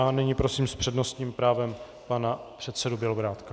A nyní prosím s přednostním právem pana předsedu Bělobrádka.